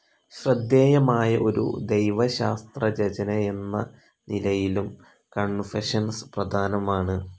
ശ്രദ്ധേയമായ ഒരു ദൈവശാസ്ത്ര രചനയെന്ന നിലയിലും കൺഫഷൻസ്‌ പ്രധാനമാണ്‌.